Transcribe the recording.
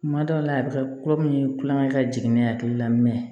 Kuma dɔw la a bi kɛ kulo min ye kulonkɛ ka jigin ne hakili la